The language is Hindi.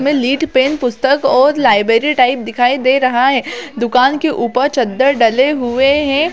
इसमें लीड पेन पुस्तक और लाइब्रेरी टाइप दिखाई दे रहा है दुकान के ऊपर चद्दर डाले हुए है।